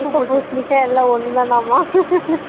அரசாணிக்கா பூசினிக்கா எல்ல ஒன்னுதனாமா